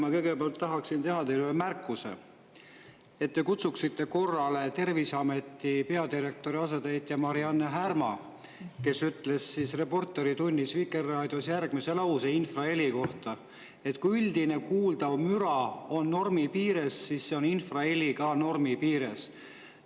Ma kõigepealt tahaksin teha teile ühe märkuse, et te kutsuksite korrale Terviseameti peadirektori asetäitja Mari-Anne Härma, kes ütles "Reporteritunnis" Vikerraadios infraheli kohta, et kui üldine kuuldav müra on normi piires, siis on infraheli ka normi piires.